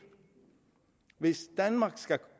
hvis danmark skal